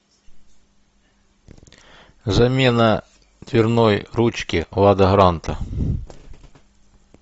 замена дверной ручки лада гранта